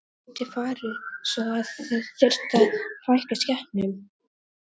Gæti farið svo að þið þyrftuð að fækka skepnum?